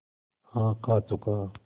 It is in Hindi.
हाँ खा चुका